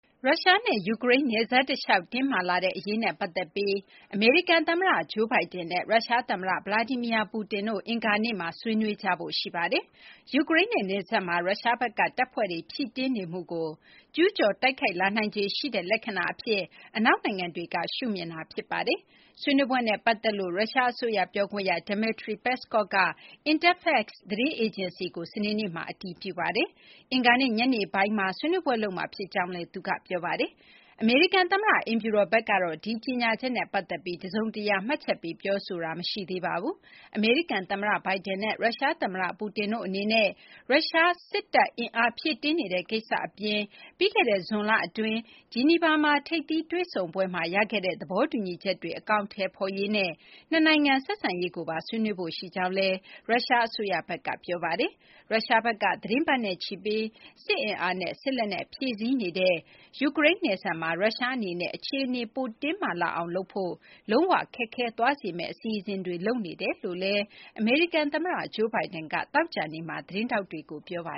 ရုရှားနဲ့ ယူကရိန်းနယ်စပ်တလျှောက် တင်းမာလာတဲ့ အရေးနဲ့ ပတ်သက်ပြီး အမေရိကန် သမ္မတ Joe Biden နဲ့ ရုရှားသမ္မတ Vladimir Putin တို့ အင်္ဂါနေ့မှာ ဆွေးနွေးကြဖို့ ရှိနေပါတယ်။ ယူကရိန်းနဲ့ နယ်စပ်မှာ ရုရှားဘက်က တပ်ဖွဲ့တွေ ဖြည့်တင်းနေမှုကို ကျူးကျော် တိုက်ခိုက်လာနိုင်ခြေရှိတဲ့ လက္ခဏာအဖြစ် အနောက်နိုင်ငံတွေက ရှုမြင်တာ ဖြစ်ပါတယ်။ ဆွေးနွေးပွဲနဲ့ ပတ်သက်လို့ ရုရှားအစိုးရ ပြောခွင့်ရ Dmitry Peskov က Interfax သတင်းအေဂျင်စီကို စနေနေ့မှာ အတည်ပြုပါတယ်။ အင်္ဂါနေ့ ညနေပိုင်းမှာ ဆွေးနွေးပွဲလုပ်မှာ ဖြစ်ကြောင်းလည်း သူက ပြောပါတယ်။ အမေရိကန်သမ္မတ အိမ်ဖြူတော်ဘက်ကတော့ ဒီကြေညာချက်နဲ့ ပတ်သက်ပြီး တစုံတရာ မှတ်ချက်ပေး ပြောဆိုတာ မရှိသေးပါဘူး။ အမေရိကန်သမ္မတ Biden နဲ့ ရုရှားသမ္မတ Putin တို့အနေနဲ့ ရုရှား စစ်တပ်အင်အား ဖြည့်တင်းနေတဲ့ ကိစ္စအပြင် ပြီးခဲ့တဲ့ ဇွန်လအတွင်း ဂျီနီဗာ ထိပ်သီးတွေ့ဆုံပွဲမှာ ရခဲ့တဲ့ သဘောတူညီချက်တွေ အကောင်အထည်ဖော်ရေးနဲ့ နှစ်နိုင်ငံဆက်ဆံရေးကိုပါ ဆွေးနွေးဖို့ရှိကြောင်းလည်း ရုရှားအစိုးရဘက်က ပြောဆိုထားပါတယ်။ ရုရှားဘက်က သီတင်းပတ်နဲ့ချီပြီး စစ်အင်အားနဲ့ စစ်လက်နက် ဖြည့်ဆည်းနေတဲ့ ယူကရိန်းနဲ့ နယ်စပ်မှာ ရုရှားအနေနဲ့ အခြေအနေ ပိုတင်းမာလာအောင်လုပ်ဖို့ လုံးဝခက်ခဲသွားစေမယ့် အစီအစဉ်တွေ လုပ်နေကြောင်း အမေရိကန်သမ္မတ Joe Biden က သောကြာနေ့မှာ သတင်းထောက်တွေကို ပြောပါ